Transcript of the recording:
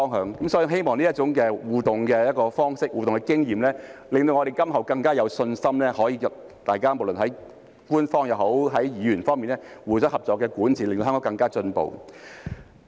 所以，我希望這種互動方式和經驗可以令我們今後更加有信心，不論是官方也好，議員也好，大家能夠互相合作，令香港更加進步。